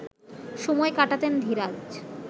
সময় কাটাতেন ধীরাজ